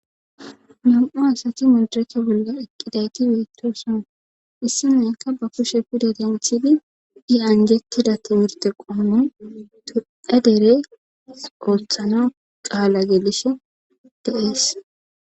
nam7u asati midiracha bolla eqqidayti beetto sona issi meykka ba kushe guda denthidi di anjettida timirte qoomontue dere ooththana qaala gelishe deees